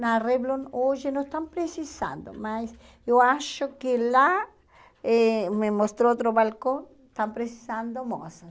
Na Revlon hoje não estão precisando, mas eu acho que lá, eh me mostrou outro balcão, estão precisando moças.